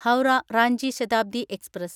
Howrah Ranchi Shatabdi express